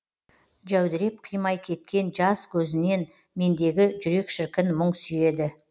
жәудіреп қимай кеткен жаз көзінен мендегі жүрек шіркін мұң сүйеді